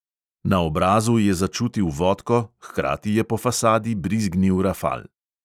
Na obrazu je začutil vodko, hkrati je po fasadi brizgnil rafal.